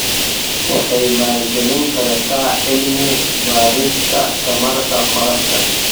Waxay maalgelin kartaa cilmi-baarista tamarta qorraxda.